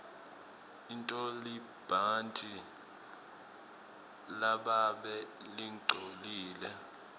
intolibhantji lababe lingcolile